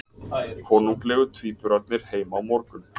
Konunglegu tvíburarnir heim á morgun